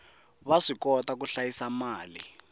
va swikota ku hlayisa mali